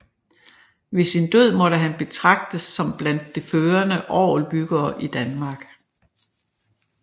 Ved sin død måtte han betragtes som blandt det førende orgelbyggere i Danmark